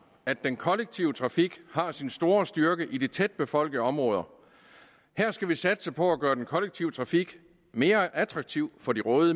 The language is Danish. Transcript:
at den kollektive trafik har sin store styrke i de tætbefolkede områder her skal vi satse på at gøre den kollektive trafik mere attraktiv for de